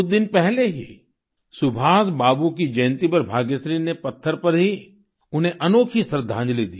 कुछ दिन पहले ही सुभाष बाबू की जयन्ती पर भाग्यश्री ने पत्थर पर ही उन्हें अनोखी श्रद्धांजलि दी